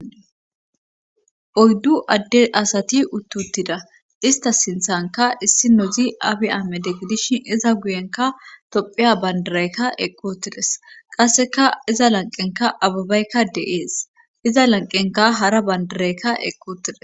Oyddu adde asati uttuttida ista sinthanka issi nozi abi amede gidishin iza guyenka tophiya bandiraykka eqqutides qasseka iza lanqenka ababeykka de7ees iza lanqenka hara bandiraykka eqqotides.